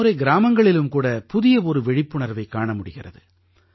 இந்த முறை கிராமங்களிலும் கூட புதிய ஒரு விழிப்புணர்வைக் காண முடிகிறது